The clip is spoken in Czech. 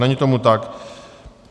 Není tomu tak.